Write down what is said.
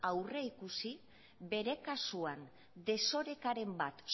aurrikusi bere kasuan desorekaren bat